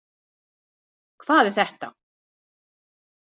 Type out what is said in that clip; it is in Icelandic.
Hvað er þetta!